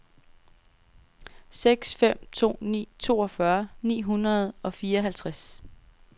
seks fem to ni toogfyrre ni hundrede og fireoghalvtreds